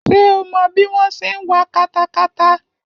Ṣé o mọ bí wọ́n ṣe ń wa katakata?